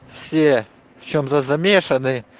все в чем-то замешаны